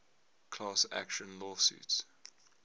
class action lawsuits